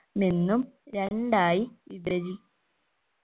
മെന്നും രണ്ടായി വിഭചി